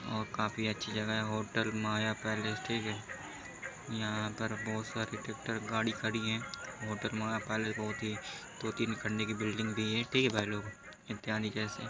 और काफी अच्छी जगह है होटल माया पैलेस ठीक है। यहाँ पर बहुत सारी ट्रैक्टर गाड़ी खड़ी है। होटल माया पैलेस बहुत ही दो-तीन खंबे की बिल्डिंग भी है ठीक है भाई लोग --